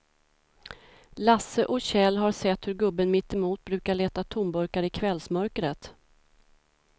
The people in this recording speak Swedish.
Lasse och Kjell har sett hur gubben mittemot brukar leta tomburkar i kvällsmörkret.